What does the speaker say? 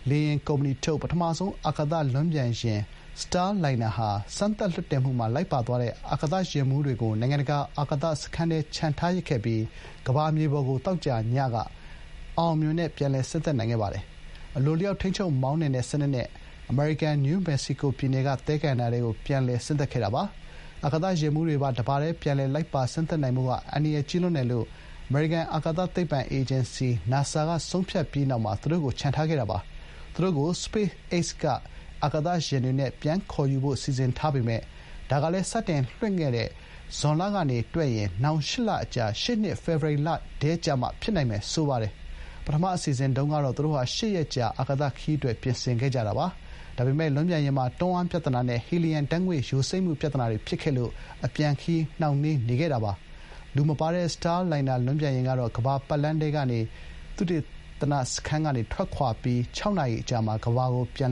လေယာဥ်ကုမ္ပဏီထုတ် ပထမဆုံး အာကာသ လွန်းပျံယာဉ် စတားလိုင်နာဟာ စမ်းသပ် လွှင့်တင်မှုမှာ လိုက်ပါသွားတဲ့ အာကာသယာဥ်မှူးတွေကို နိုင်ငံတကာ အာကာသ စခန်းထဲ ချန်ထားရစ်ခဲ့ရပြီး ကမ္ဘာမြေပေါ် ကို သောကြာညက အောင်အောင်မြင်မြင်နဲ့ ပြန်လည် ဆင်းသက်ခဲ့ပါတယ်။ အလိုအလျောက် ထိန်းချုပ်မောင်းနှင်တဲ့ စနစ်နဲ့ အမေရိကန်ပြည်ထောင်စု နယူးမက္ကဆီကို သဲကန္တာရထဲကို ပြန်လည် ဆင်းသက်ခဲ့တာပါ။ အာကာသယာဥ်မှူးတွေပါ တပါတည်း ပြန်လည် လိုက်ပါ ဆင်းသက်နိုင်ဖို့က အန္တရာယ်ကြီးလွန်းတယ်လို့ အမေရိကန် အာကာသသိပ္ပံ အေဂျင်စီ NASA က ဆုံးဖြတ်ပြီးနောက်မှာ သူတို့ကို ချန်ထားခဲ့တာပါ။ သူတို့ကို SpaceX က အာကာသယဥ်တွေနဲ့ ပြန်ခေါ်ယူဖို့ စီစဥ်ထားပေမယ့် ဒါကလည်း စတင်လွှင်တဲ့ခဲ့တဲ့ ဇွန်လကနေ တွက်ရက် နောက် ၈ လ အကြာ ရှေ့နှစ် ဖေဖော်ဝါရီလထဲကျမှ ဖြစ်နိုင်မယ် ဆိုပါတယ်။ ပထမ အစီအစဥ်တုန်းကတော့ သူတို့ဟာ ၈ ရက် ကြာ အာကာသခရီး အတွက် ပြင်ဆင်ခဲ့ကြတာပါ။ ဒါပေမဲ့ လွန်းပျံယာဉ်မှာ တွန်းအားပြဿနာနဲ့ ဟီလီယမ် ဓာတ်ငွေ့ ယိုစိမ့်မှု ပြဿနာတွေ ဖြစ်ခဲ့လို့ အပြန်အခရီး နှောင့်နှေးနေခဲ့တာပါ။ လူမပါတဲ့ စတားလိုင်နာ လွန်းပျံယာဥ်ကတော့ ကမ္ဘာ့ပတ်လမ်းထဲက သုတေသန စခန်းကနေ ထွက်ခွာပြီး ခြောက်နာရီအကြာမှာ ကမ္ဘာကို ပြန်